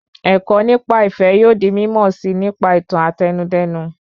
Ẹ̀kọ́ nípa ìfẹ yóò di mímọ̀ síi nípa ìtàn Àtẹnudẹ́nu